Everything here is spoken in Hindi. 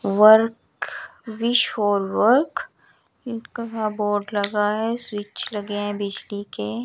वर्क विश फॉर वर्क इनका का बोर्ड लगा है स्विच लगे हैं बिजली के।